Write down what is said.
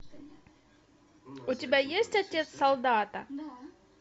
у тебя есть отец солдата